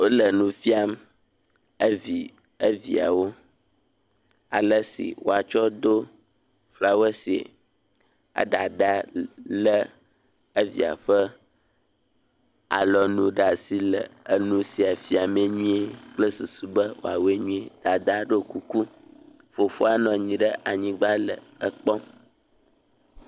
Wole nu fiam evii, eviawo ale si woatsɔ do flawɛsie. Edadaa lé evia ƒe alɔnu ɖe asi le enufiafiame nyuie kple susu be wòawɔe nyuie. Dadaa ɖiɔ kuku. Fofoa nɔ anyi ɖe anyigba le ekpɔm.